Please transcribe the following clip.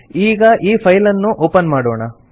ನಾವು ಈ ಫೈಲ್ ಅನ್ನು ಒಪನ್ ಮಾಡೋಣ